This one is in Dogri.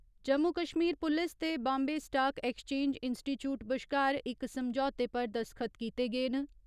जम्मू कश्मीर पुलिस ते बाम्बे स्टाक एक्सचेन्ज इन्सटीचयूट बश्कार इक समझौते पर दस्तख्त कीते गे न।